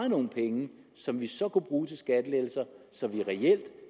nogle penge som vi så kunne bruge til skattelettelser sådan at vi reelt